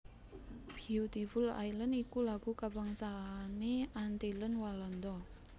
Beautiful Islands iku lagu kabangsané Antillen Walanda